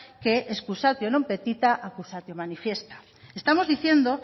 que excusatio non petita accusatio manifesta estamos diciendo